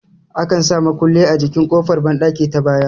Akan sa mukulli a jikin ƙofar banɗaki ta baya